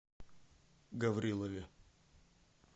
гаврилове